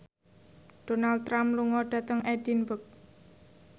Donald Trump lunga dhateng Edinburgh